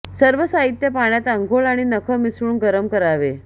सर्व साहित्य पाण्यात अंघोळ आणि नख मिसळून गरम करावे